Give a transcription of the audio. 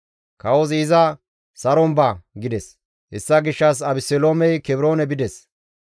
Kawozi iza, «Saron ba» gides; hessa gishshas Abeseloomey Kebroone bides.